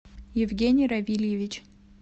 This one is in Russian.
евгений равильевич